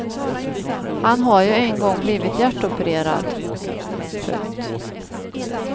Han har ju en gång blivit hjärtopererad. punkt